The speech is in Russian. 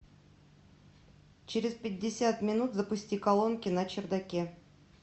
через пятьдесят минут запусти колонки на чердаке